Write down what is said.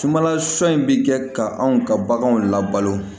Sumanla sɔ in bi kɛ ka anw ka baganw labalo